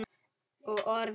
Og Orðinu.